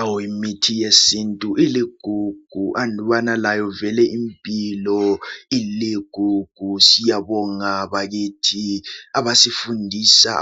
Awu imithi yesintu iligugu, andubana layo vele impilo iligugu. Siyabonga bakithi